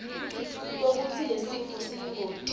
kwekutsi lesifo siyingoti